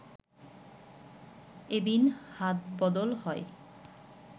এদিন হাতবদল হয়